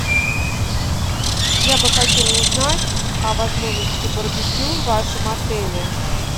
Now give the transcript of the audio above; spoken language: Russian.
я бы хотела узнать о возможности барбекю в вашем отеле